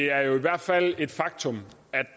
er jo i hvert fald et faktum